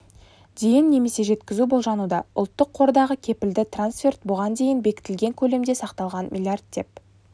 дейін немесе жеткізу болжануда ұлттық қордағы кепілді трансферт бұған дейін бекітілген көлемде сақталған млрд деп